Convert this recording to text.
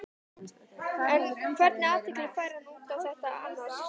En hvernig athygli fær hann út á þetta annars?